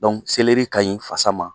Dɔnku selɛri ka ɲi fasa ma.